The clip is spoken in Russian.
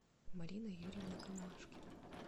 марина юрьевна камашкина